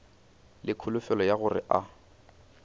le kholofelo ya gore a